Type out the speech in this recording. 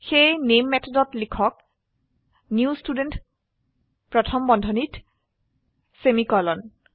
সেয়ে নামে মেথডত লিখক নিউ ষ্টুডেণ্ট প্রথম বন্ধনীত সেমিকোলন